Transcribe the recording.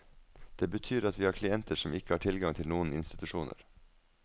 Det betyr at vi har klienter som ikke har tilgang til noen institusjoner.